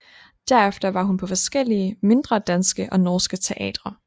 Derefter var hun på forskellige mindre danske og norske teatre